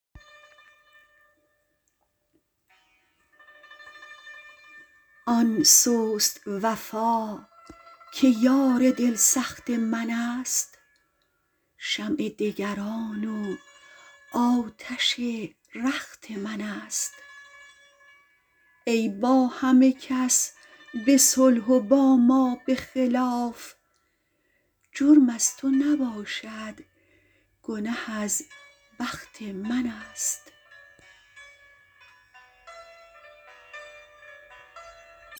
آن سست وفا که یار دل سخت من است شمع دگران و آتش رخت من است ای با همه کس به صلح و با ما به خلاف جرم از تو نباشد گنه از بخت من است